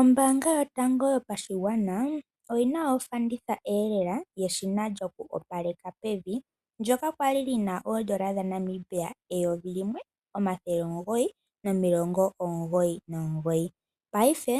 Ombaanga yotango yopashigwana oyina ofanditha eelela yeshina lyoku opaleka pevi, ndoka kwa li lina oondola dhaNamibia eyovi limwe, omathele omugoyi nomilongo omugoyi nomugoyi. Paife